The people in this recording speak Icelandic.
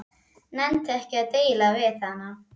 Nennti ekki að deila við hana.